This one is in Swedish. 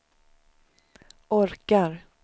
orkar